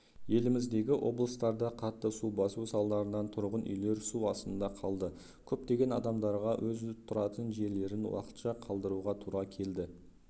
еліміздегі облыстарда қатты су басу салдарынан тұрғын үйлер су астында қалды көптеген адамдарға өз тұратын жерлерін уақытша қалдыруға тура келді